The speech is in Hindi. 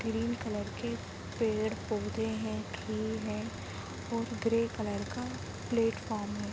ग्रीन कलर के पेड़-पोधे है ट्री है और ग्रे कलर का प्लेटफार्म है।